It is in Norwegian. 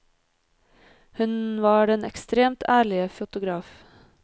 Hun var den ekstremt ærlige fotograf.